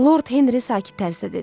Lord Henri sakit tərzdə dedi.